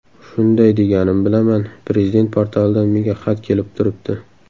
Shunday deganimni bilaman, Prezident portalidan menga xat kelib turibdi.